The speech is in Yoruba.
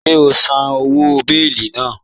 Ṣẹ̀ o n sán owó bèélì náà?